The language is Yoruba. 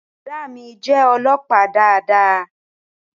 Boda mí jé olópàá dáadáa